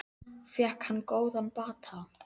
Fékk hann góðan bata.